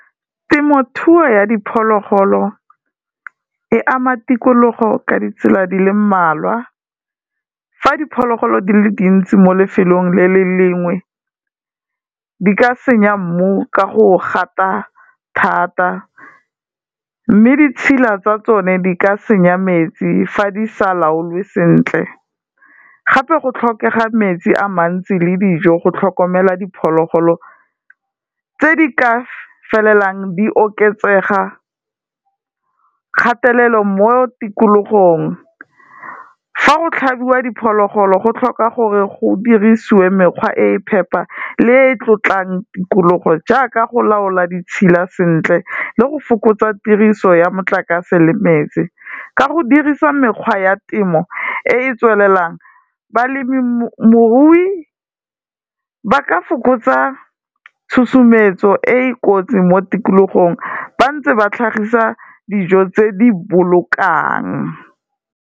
Temothuo ya diphologolo e ama tikologo ka ditsela di le mmalwa, fa diphologolo di le dintsi mo lefelong le le lengwe, di ka senya mmu ka go gata thata, mme ditshila tsa tsone di ka senya metsi fa di sa laolwe sentle, gape go tlhokega metsi a mantsi le dijo go tlhokomela diphologolo tse di ka felelang di oketsega kgatelelo mo tikologong, ha go tlhabiwa diphologolo go tlhoka gore go dirisiwe mekgwa e e phepha le e e tlotlang tikologo, jaaka go laola ditshila sentle le go fokotswa tiriso ya motlakase le metsi, ka go dirisa mekgwa ya temo e e tswelelang balemirui ba ka fokotsa tshosometso e e kotsi mo tikologong, bantse ba tlhagisa dijo tse di bolokang.